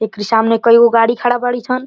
एकरी सामने कई गो गाड़ी खड़ा बाड़ी सन।